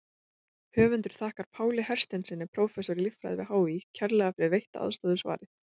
Höfundur þakkar Páli Hersteinssyni, prófessor í líffræði við HÍ kærlega fyrir veitta aðstoð við svarið.